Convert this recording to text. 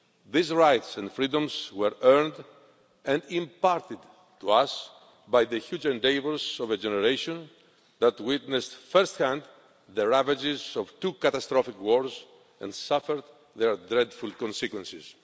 These rights and freedoms were earned and imparted to us by the huge endeavours of a generation that witnessed at first hand the ravages of two catastrophic wars and suffered their dreadful consequences.